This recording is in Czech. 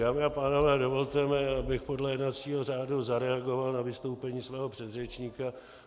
Dámy a pánové, dovolte mi, abych podle jednacího řádu zareagoval na vystoupení svého předřečníka.